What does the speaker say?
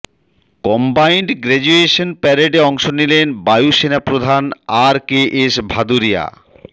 combined graduation প্যারেডে অংশ নিলেন বায়ুসেনা প্রধান আর কে এস ভাদুরিয়া